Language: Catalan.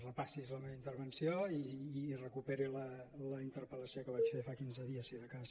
repassi’s la meva intervenció i recuperi la interpel·lació que vaig fer fa quinze dies si de cas